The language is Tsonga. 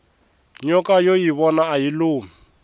nyoka yo yivona ayi lumi